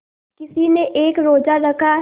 किसी ने एक रोज़ा रखा है